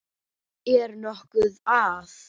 Er nokkuð að?